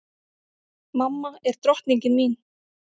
Mamma er drottningin mín.